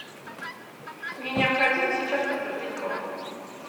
мне необходимо сейчас подтвердить бронь